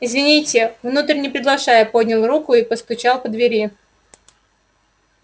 извините внутрь не приглашаю поднял руку и постучал по двери